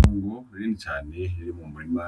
Itongo rinini cane riri mu murima